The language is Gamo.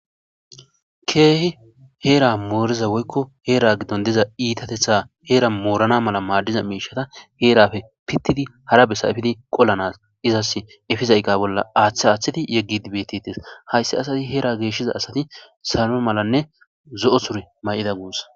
Keehi hera moriza woyko hera gidon diza irxatetha hera Morgana mala madiza mishata herape pitifi hara bessa epidi qolanas izasi epiza eqa bolla athi athi yegidi betetes haysi asay hera geshiza asati salo malanne zo'o sure mayida guusa